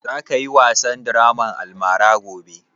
Za ka yi wasan draman almara gobe?